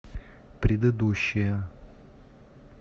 предыдущая